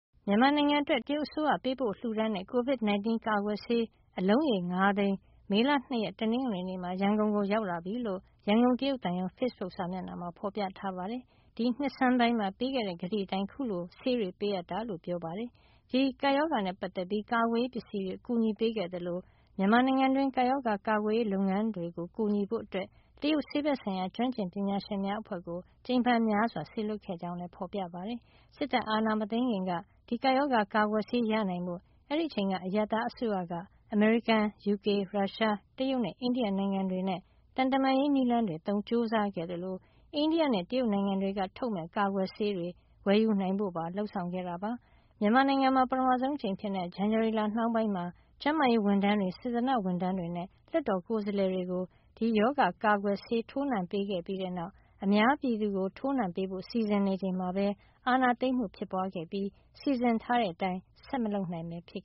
မြန်မာနိုင်ငံအတွက် တရုတ်အစိုးရ ပေးပို့လှူဒါန်းတဲ့ COVID-19 ကာကွယ်ဆေး အလုံးရေ ၅ သိန်း မေလ ၂ ရက် တနင်္ဂနွေနေ့မှာ ရန်ကုန်ကို ရောက်လာပြီလို့ ရန်ကုန် တရုတ်သံရုံး ဖေ့စ်ဘုတ် စာမျက်မှာမှာ ဖေါ်ပြထားပါတယ်။ ဒီနှစ်ဆန်းပိုင်းမှာ ပေးခဲ့တဲ့ ကတိအတိုင်း အခုလို ဆေးတွေပေးအပ်တာ ဖြစ်ကြောင်း ပြောပါတယ်။ ဒီကပ်ရောဂါနဲ့ ပတ်သက်ပြီး ကာကွယ်ရေးပစ္စည်း အကူညီတွေ ပေးအပ်ခဲ့သလို မြန်မာနိုင်ငံတွင်း ဒီကပ်ရောဂါကာကွယ်ရေးလုပ်ငန်းတွေကို ကူညီဖို့ တရုတ်ဆေးဘက်ဆိုင်ရာ ကျွမ်းကျင်ပညာရှင်များအဖွဲ့ကို ကြိမ်ဖန်များစွာ စေလွှတ်ခဲ့ကြောင်းလည်း ဖေါ်ပြထားပါတယ်။ စစ်တပ်အာဏာမသိမ်းခင်က ဒီကပ်ရောဂါ ကာကွယ်ဆေး နိုင်ဖို့ အဲဒီအချိန်က အရပ်သား အစိုးရက အမေရိကန်၊ ယူကေ၊ ရုရှား၊ တရုတ်နဲ့ အိန္ဒိယ နိုင်ငံတွေနဲ့ သံတမန်ရေးနည်းလမ်းတွေ သုံးကြိုးစားခဲ့သလို အိန္ဒိယနဲ့ တရုတ်နိုင်ငံတွေက ထုတ်မယ့် ကာကွယ်ဆေးတွေ ဝယ်ယူနိုင်ဖို့ပါ လုပ်ဆောင်ခဲ့တာပါ။ မြန်မာနိုင်ငံမှာ ပထမဆုံးအကြိမ်အဖြစ် ဇန်နဝါရီလနှောင်းပိုင်းမှာ ကျန်းမာရေးဝန်ထမ်းတွေ၊ စေတနာ့ဝန်ထမ်းတွေနဲ့ လွှတ်တော်ကိုယ်စားလှယ်တွေကို ကိုဗစ်ရောဂါကာကွယ်ဆေး ထိုးနှံပေးပြီးတဲ့နောက် အများပြည်သူကို ထိုးနှံပေးဖို့ စီစဉ်နေချိန်မှာပဲ အာဏာသိမ်းမှု ဖြစ်ပွါးခဲ့ပြီး စီစဉ်ထားတဲ့ အတိုင်း ဆက်မလုပ်နိုင်ပဲ ဖြစ်